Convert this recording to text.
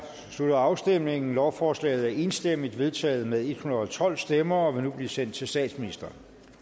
slutter afstemningen lovforslaget er enstemmigt vedtaget med en hundrede og tolv stemmer og vil nu blive sendt til statsministeren